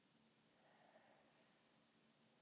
Hvernig varð tunglið til?